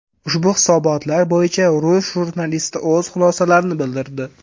Ushbu hisobotlar bo‘yicha rus jurnalisti o‘z xulosalarini bildirdi.